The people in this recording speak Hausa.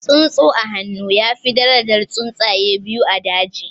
Tsuntsu a hannu ya fi darajan tsuntsaye biyu a daji